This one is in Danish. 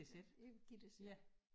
Ja øh Gittes ja